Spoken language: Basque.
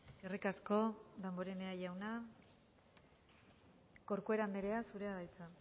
eskerrik asko damborenea jauna corcuera anderea zurea da hitza